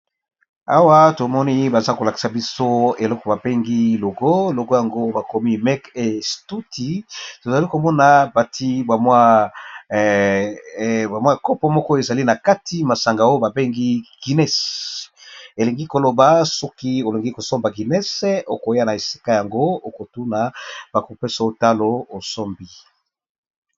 Awa tomoni baza kolakisa biso eloko babengi logo, logo yango bakomi make instutie , tozali komona bati bamwa kopo moko ezali na kati masanga oyo babengi guinness, elingi koloba soki olingi kosomba guinness okoya na esika yango okotuna bakopesa yo talo osombi !